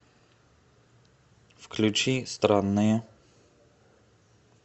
включи странные